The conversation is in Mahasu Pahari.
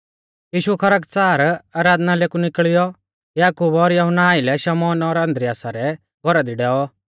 यीशु खरकच़ार आराधनालय कु निकल़ियौ याकूब और यहुन्ना आइलै शमौन और आन्द्रियासा सै घौरा दी डैऔ